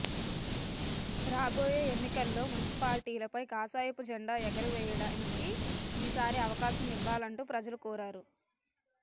రాబోయే ఎన్నికల్లో మున్సిపాలిటీ లపై కాషాయపు జెండా ఎగురడానికి ఈ సారి అవకాశం ఇవ్వాలంటూ ప్రజలను కోరారు